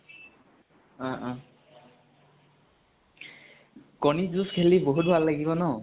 অ অ । কণী যুঁজ খেলি বহুত ভাল লাগিব ন?